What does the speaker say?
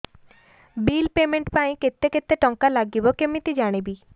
bill payment ପାଇଁ କେତେ କେତେ ଟଙ୍କା ଲାଗିବ କେମିତି ଜାଣିବି